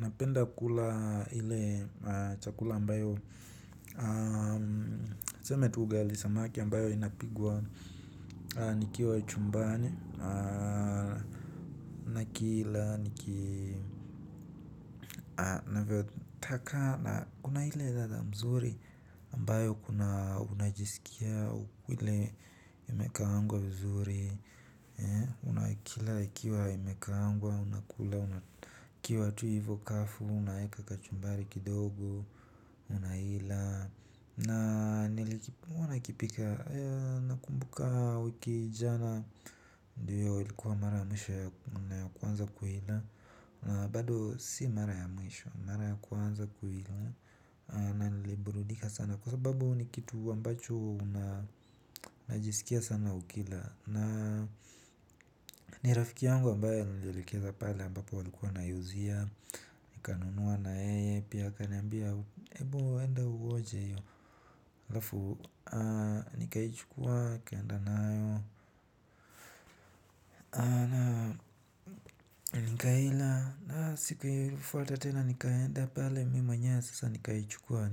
Napenda kula ile chakula ambayo tuseme tu ugali samaki ambayo inapikwa. Nikiwa chumbani na kila navyotaka kuna ile ladha nzuri ambayo kuna unajisikia ile imekaangwa vizuri. Unakila ikiwa imekaangwa. Unakula ikiwa tu hivyo kavu, unaweka kachumbari kidogo, unaila. Na nilikipika, nakumbuka wiki jana. Ndiyo ulikuwa mara ya mwisho ya kuanza kuila. Bado si mara ya mwisho, mara ya kwanza kuila, na nilibrudika sana kwa sababu ni kitu ambacho unajisikia sana ukila. Na ni rafiki yangu ambaye alinielekeza pale ambapo walikuwa wanauzia. Nikanunua na yeye pia kaniambia ebu uenda uonje hiyo alafu, nikaichukua, nikaenda nayo. Nikaila na siku ilifuata tena nikaenda pale, mimi mwenyewe sasa nikaichukua,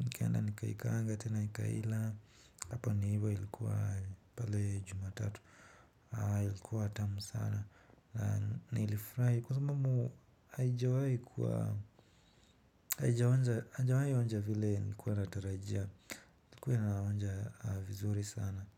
nikaenda nikaikaanga tena nikaila. Hapo ni hivo ilikuwa pale jumatatu. Aaa ilikuwa tamu sana, na nilifurahi kwa sababu, haijawai kuwa, haijawahi onja vile nikuwa ratarajia. Kwaiyo naonja aa vizuri sana.